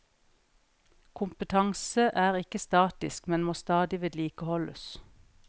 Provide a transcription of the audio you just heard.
Kompetanse er ikke statisk, men må stadig vedlikeholdes.